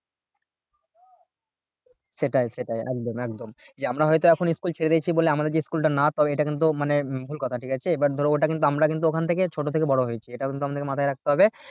সেটাই সেটাই একদম একদম যে আমরা হয়তো এখন school ছেড়ে দিয়েছি বলে আমাদের যে school টা না তো এটা কিন্তু মানে আহ ভুল কথা ঠিক আছে but ধরো ওটা কিন্তু আমরা কিন্তু ওখান থেকে ছোট থেকে বড়ো হয়েছি এটাও কিন্তু আমাদেরকে মাথায় রাখতে হবে